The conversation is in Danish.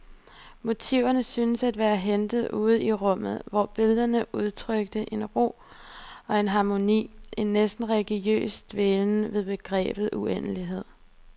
Motiverne syntes at være hentet ude i rummet, hvor billederne udtrykte en ro og en harmoni, en næsten religiøs dvælen ved begrebet uendelighed.